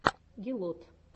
гелот